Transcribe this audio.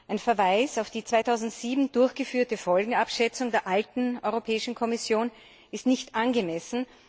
Ein Verweis auf die 2007 durchgeführte Folgenabschätzung der alten Europäischen Kommission ist nicht angemessen.